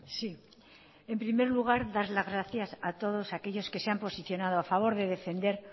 sí en primer lugar dar las gracias a todos aquellos que se han posicionado a favor de defender